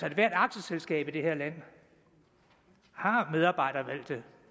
ethvert aktieselskab i det her land har medarbejdervalgte